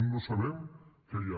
no sabem què hi ha